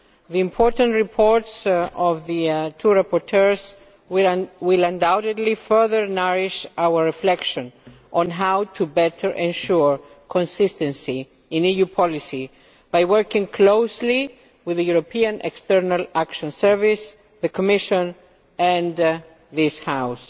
The important reports of the two rapporteurs will undoubtedly further nourish our reflexion on how to better ensure consistency in EU policy by working closely with the European External Action Service, the Commission and this House.